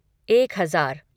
एक हज़ार